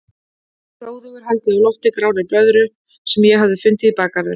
Hróðugur held ég á lofti grárri blöðru sem ég hafði fundið í bakgarðinum.